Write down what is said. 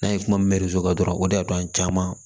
N'an ye kuma min dɔrɔn o de y'a to an caman